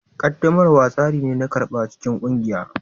Ƙaddamarwa tsari ne na karɓa cikin ƙungiya